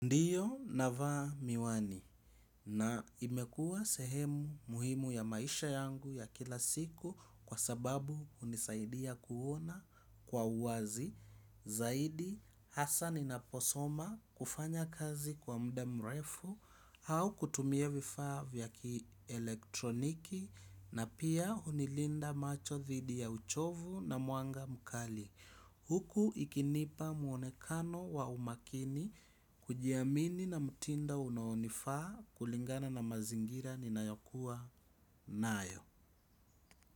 Ndiyo navaa miwani na imekuwa sehemu muhimu ya maisha yangu ya kila siku kwa sababu hunisaidia kuona kwa uwazi zaidi hasa ninaposoma kufanya kazi kwa muda mrefu au kutumie vifaa vya kielektroniki na pia hunilinda macho dhidi ya uchovu na mwanga mkali huku ikinipa muonekano wa umakini kujiamini na mtindo unaonifaa kulingana na mazingira ninayokuwa nayo.